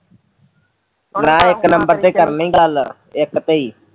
ਨਾ ਇੱਕ ਨੰਬਰ ਤੇ ਕਰਨੀ ਗੱਲ ਇੱਕ ਤੇ